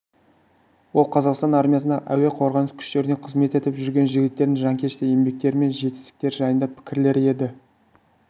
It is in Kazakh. ол қазақстан армиясындағы әуе қорғаныс күштерінде қызмет етіп жүрген жігіттердің жанкешті еңбектері мен жетістіктері жайындағы пікірлер еді